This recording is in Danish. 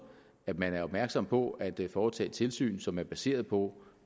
at man er opmærksom på at foretage tilsyn som er baseret på